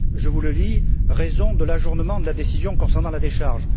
Je vous le lis Raisons de l'ajournement de la décision concernant la décharge.